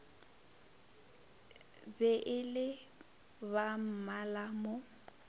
be e le bammala mo